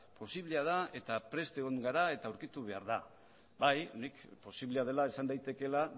posiblea da eta prest egon gara eta aurkitu behar da bai nik posiblea dela esan daitekeela